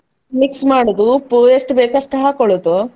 Mix ಮಾಡುದು ಉಪ್ಪು ಎಷ್ಟು ಬೇಕು ಅಷ್ಟು ಹಾಕೊಳ್ಳುದು.